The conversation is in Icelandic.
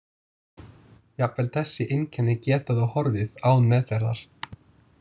Jafnvel þessi einkenni geta þó horfið án meðferðar.